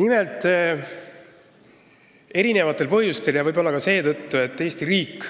Nimelt, erinevatel põhjustel – muu hulgas võib-olla seetõttu, et Eesti riik